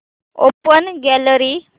open gallery